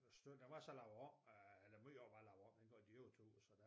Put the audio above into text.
Stykke der var så lavet om eller meget af den var så lavet om dengang de overtog og så der